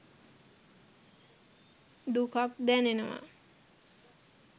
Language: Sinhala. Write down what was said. දුකක් දැනෙනවා